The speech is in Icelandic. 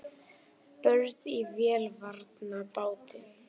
Börn í vélarvana báti